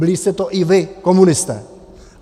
Byli jste to i vy, komunisté.